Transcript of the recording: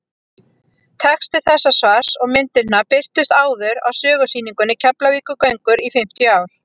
texti þessa svars og myndirnar birtust áður á sögusýningunni keflavíkurgöngur í fimmtíu ár